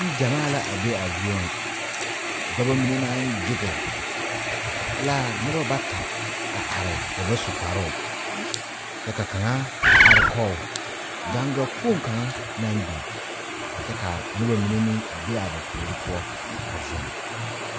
Niŋgyamaa la be a zie nyɛ, dɔbo mine naŋ gyɛge e la noba bata a are ba ba su kparoo kyɛ ka kaŋaa are kɔge gaŋga kpoŋ kaŋa naŋ beŋ kyɛ ka noba mine meŋ be ba puori poɔ a zeŋ.